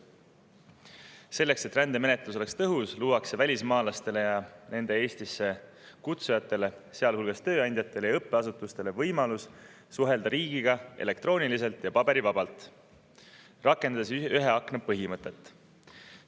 Selleks et rändemenetlus oleks tõhus, luuakse välismaalastele ja nende Eestisse kutsujatele, sealhulgas tööandjatele ja õppeasutustele, võimalus suhelda riigiga elektrooniliselt ja paberivabalt, rakendades ühe akna põhimõtet.